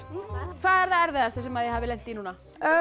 hvað er það erfiðasta sem þið hafið lent í núna